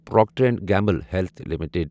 Procter and Gamble health limited